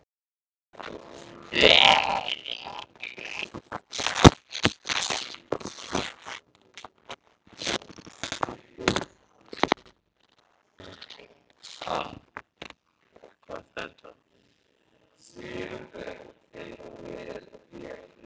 Karen Kjartansdóttir: Og fólk á ferli með barnavagna?